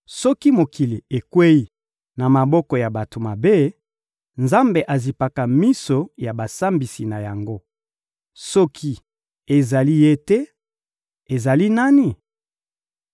Soki mokili ekweyi na maboko ya bato mabe, Nzambe azipaka miso ya basambisi na yango. Soki ezali Ye te, ezali nani?